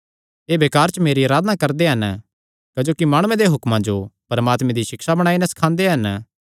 एह़ बेकार च मेरी अराधना करदे हन क्जोकि माणुआं दे हुक्मां जो परमात्मे दी सिक्षा बणाई नैं सखांदे हन